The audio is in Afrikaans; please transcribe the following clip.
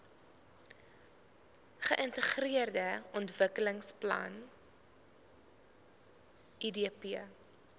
geintegreerde ontwikkelingsplan idp